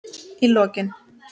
Í lokin.